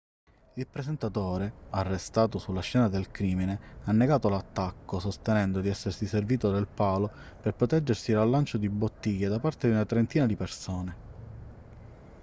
il presentatore arrestato sulla scena del crimine ha negato l'attacco sostenendo di essersi servito del palo per proteggersi dal lancio di bottiglie da parte di una trentina di persone